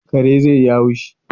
Kare zai yi haushi